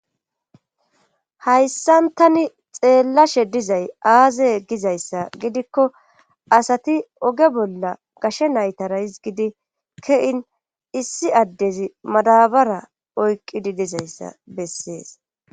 hayssan tani xeellashe dizay aaze gizayssa gidikko asati oge bolla gashe naytara hizgidi ke7in issi addezi madabara oyqqidi dizayssa bessees